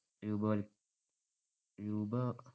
രൂപവല്‍~ രൂപ~